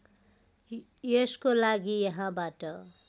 यसको लागि यहाँबाट